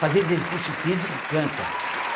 Fazer exercício físico cansa.